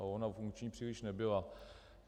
Ale ona funkční příliš nebyla.